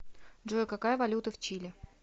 джой какая валюта в чили